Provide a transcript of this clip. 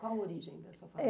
Qual origem dessa